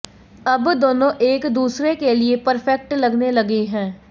अब दोनों एक दूसरे के लिए परफेक्ट लगने लगे हैं